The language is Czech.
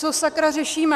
Co sakra řešíme!